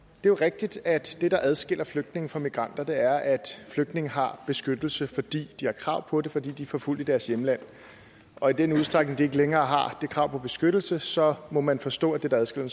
jo rigtigt at det der adskiller flygtninge fra migranter er at flygtninge har beskyttelse fordi de har krav på det fordi de er forfulgte i deres hjemland og i den udstrækning de ikke længere har det krav på beskyttelse så må man forstå at det der adskiller